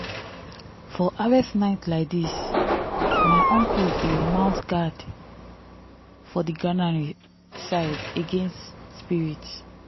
for harvest night laidis my uncle dey mount guard for the garnary side against spirits.